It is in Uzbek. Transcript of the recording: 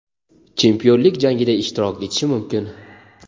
chempionlik jangida ishtirok etishi mumkin.